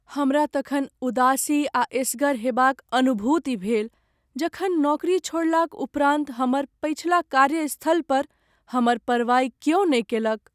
हमरा तखन उदासी आ एसगर हेबाक अनुभूति भेल जखन नौकरी छोड़लाक उपरान्त हमर पछिला कार्यस्थल पर हमर परवाहि किओ नहि कैलक।